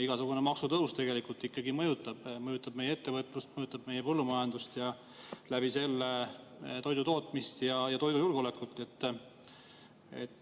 Igasugune maksutõus tegelikult ikkagi mõjutab meie ettevõtlust, mõjutab meie põllumajandust ja läbi selle toidutootmist ja toidujulgeolekut.